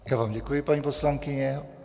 Já vám děkuji, paní poslankyně.